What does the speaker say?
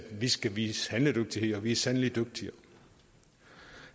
vi skal vise handledygtighed og at vi sandelig